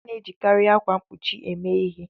A na-ejikarị akwa mkpuchi eme ihe.